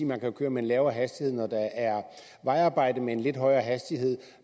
man kan køre med lavere hastighed når der er vejarbejde og med en lidt højere hastighed